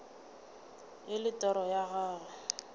e le toro ya gago